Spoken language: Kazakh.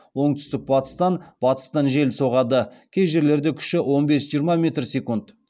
оңтүстік батыстан батыстан жел соғады кей жерлерде күші он бес жиырма метр секунд